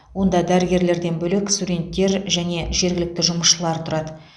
онда дәрігерлерден бөлек студенттер және жергілікті жұмысшылар тұрады